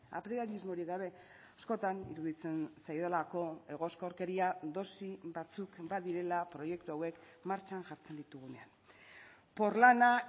apriorismorik gabe askotan iruditzen zaidalako egoskorkeria dosi batzuk badirela proiektu hauek martxan jartzen ditugunean porlana